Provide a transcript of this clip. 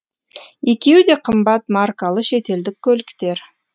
екеуі де қымбат маркалы шетелдік көліктер